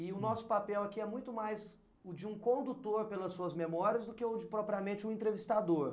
E o nosso papel aqui é muito mais o de um condutor pelas suas memórias do que o de propriamente um entrevistador.